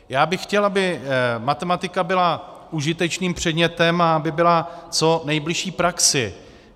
Já bych chtěl, aby matematika byla užitečným předmětem a aby byla co nejbližší praxi.